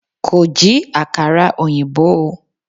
Kò jí àkàrà ọ̀yìnbó o.